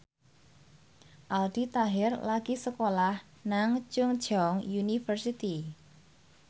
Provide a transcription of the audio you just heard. Aldi Taher lagi sekolah nang Chungceong University